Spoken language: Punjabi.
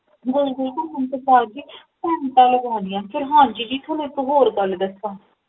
ਗੋਲ ਗੋਲ ਕੁਮਨ ਤੋਂ ਬਾਧ ਜੀ ਘੰਟਾ ਲਗਾਂਦੀਆਂ ਫੇਰ ਹਾਂਜੀ ਜੀ ਥੋਨੂ ਇੱਕ ਹੋਰ ਗਲ ਦੱਸਾ